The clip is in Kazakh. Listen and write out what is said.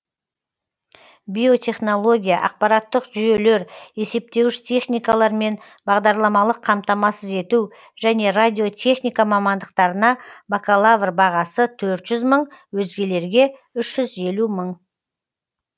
биотехнология ақпараттық жүйелер есептеуіш техникалар мен бағдарламалық қамтамасыз ету және радиотехника мамандықтарына бакалавр бағасы төрт жүз мың өзгелерге үш жүз елу мың